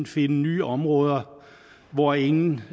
finde nye områder hvor ingen